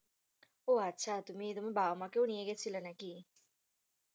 উহ আচ্ছা। তুমি তুমি বাবা মাকেও নিয়ে গিয়েছিলে নাকি?